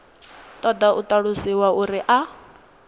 ṱoḓa u ṱalusiwa uri a